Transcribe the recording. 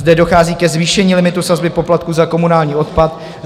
Zde dochází ke zvýšení limitu sazby poplatku za komunální odpad.